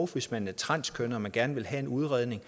hvis man er transkønnet og gerne vil have en udredning